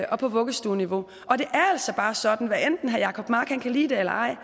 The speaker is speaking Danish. og vuggestueniveau og det er altså bare sådan hvad enten herre jacob mark kan lide det eller ej